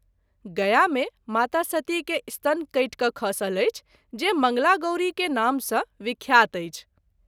गया मे माता सती के स्तन कटि क’ खसल अछि जे मंगला गौरी के नाम सँ विख्यात अछि।